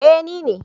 Eh ni ne